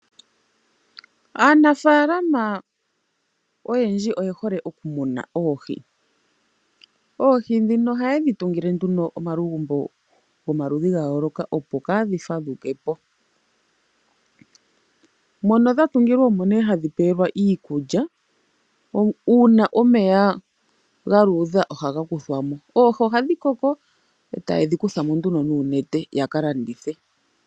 Aanafaalama oyendji oyehole okumuna oohi. Oohi ndhino ohaye dhi tungile nduno omalugumbo gomalundhi gayooloka opo kaadhi fadhukepo mono dha tungilwa omo nee hadhi pewelwa iikulya, uuna omeya galuudha ohaga kuthwamo. Oohi ohandhi koko etaye dhikuthamo nduno nuunete yakalandithe.